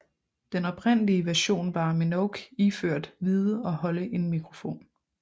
Den oprindelige version var Minogue iført hvide og holde en mikrofon